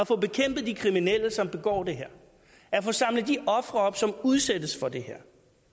få bekæmpet de kriminelle som begår det her at få samlet de ofre op som udsættes for det her